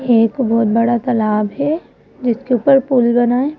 एक बहोत बड़ा तालाब है जिसके ऊपर पुल बना है।